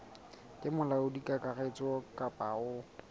ke molaodi kakaretso kapa o